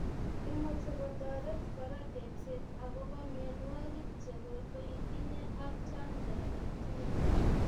Imuch kotoret kora tepset akobo mionwogik chekotoitinye ak chanjo alak tugul